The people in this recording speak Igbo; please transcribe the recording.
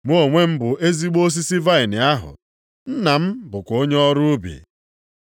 “Mụ onwe m bụ ezigbo osisi vaịnị ahụ. Nna m bụkwa onye ọrụ ubi.